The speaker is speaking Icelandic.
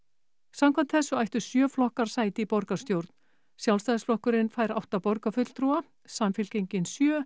samkvæmt þessu ættu sjö flokkar sæti í borgarstjórn Sjálfstæðisflokkurinn átta borgarfulltrúa Samfylkingin sjö